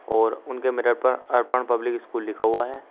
और उनके मिरर पर अर्पण पब्लिक स्कूल लिखा हुआ है।